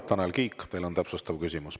Tanel Kiik, teil on täpsustav küsimus.